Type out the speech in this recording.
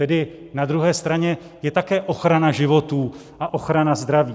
Tedy na druhé straně je také ochrana životů a ochrana zdraví.